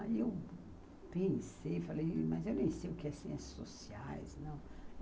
Aí eu pensei, falei, mas eu nem sei o que é Ciências Sociais não.